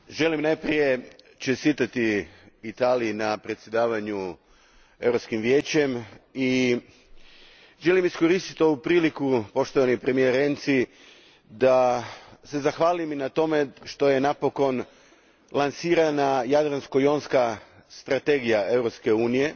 Gospodine predsjedniče, želim najprije čestitati Italiji na predsjedanju Europskim vijećem i želim iskoristiti ovu priliku, poštovani premijeru Renzi, da se zahvalim i na tome što je napokon lansirana Jadransko jonska strategija Europske unije